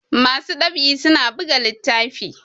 masu ɗab'i suna biga littafi